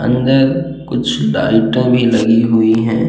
अंदर कुछ डाल्टन में लगी हुई हैं।